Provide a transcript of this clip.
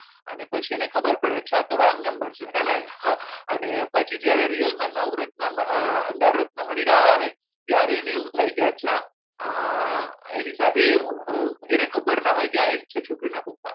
અને એની પછી ખબર પડે છે કે આ તો wrong number છે છે ને અને પછી જ્યારે real માં નવ રત્ન નર રત્ન મણીરાજ આવે ત્યારે અને એવું થાય કે અચ્છા એની સાથે એવું એને ખબર ન હોય કે આ છોકરીના પપ્પા